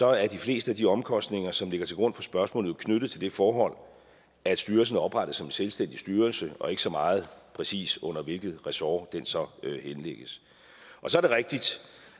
er de fleste af de omkostninger som ligger til grund for spørgsmålet jo knyttet til det forhold at styrelsen er oprettet som en selvstændig styrelse og ikke så meget præcis under hvilket ressort den så henlægges så er det rigtigt